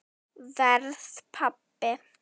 Verð pabbi.